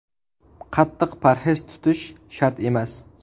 Qattiq parhez tutish shart emas.